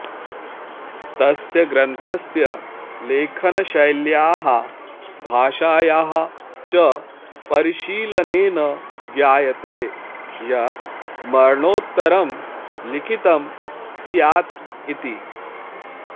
तस्य ग्रन्थस्य लेखनशैल्याः भाषायाः च परिशीलनेन ज्ञायते यत् मरणोत्तरं लिखितं स्यात् इति